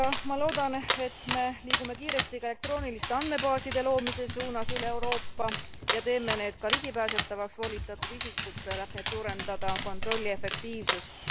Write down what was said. Ma loodan, et me liigume kiiresti ka elektrooniliste andmebaaside loomise suunas üle Euroopa ja teeme need ka ligipääsetavaks volitatud isikutele, et suurendada kontrolli efektiivsust.